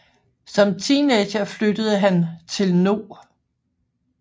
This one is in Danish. Som teenager flyttede han til No